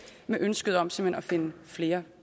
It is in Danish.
med ønsket om simpelt hen at finde flere